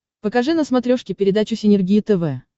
покажи на смотрешке передачу синергия тв